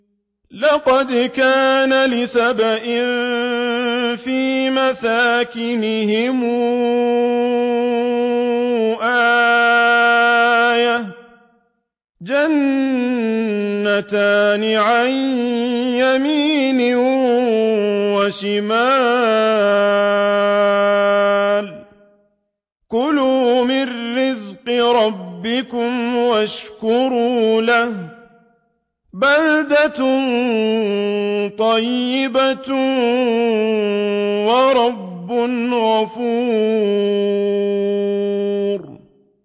لَقَدْ كَانَ لِسَبَإٍ فِي مَسْكَنِهِمْ آيَةٌ ۖ جَنَّتَانِ عَن يَمِينٍ وَشِمَالٍ ۖ كُلُوا مِن رِّزْقِ رَبِّكُمْ وَاشْكُرُوا لَهُ ۚ بَلْدَةٌ طَيِّبَةٌ وَرَبٌّ غَفُورٌ